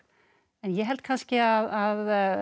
en ég held kannski að